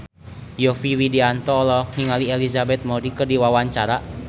Yovie Widianto olohok ningali Elizabeth Moody keur diwawancara